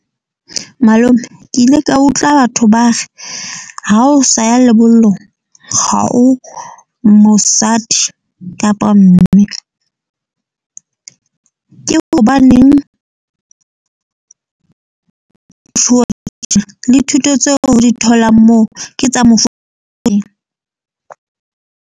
Malome, ke ile ka utlwa batho ba re ha o sa ya lebollong ha o mosadi kapa mme ke hobaneng le thuto tseo di tholang moo, ke tsa mofuta .